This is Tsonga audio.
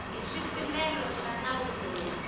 hi swipimelo swa nawu lowu